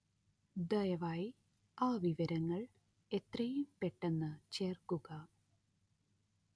ദയവായി ആ വിവരങ്ങള്‍ എത്രയും പെട്ടെന്ന് ചേര്‍ക്കുക